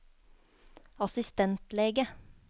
assistentlege